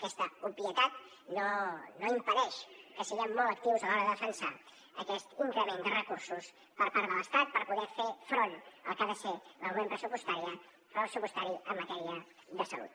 aquesta obvietat no impedeix que siguem molt actius a l’hora de defensar aquest increment de recursos per part de l’estat per poder fer front al que ha de ser l’augment pressupostari en matèria de salut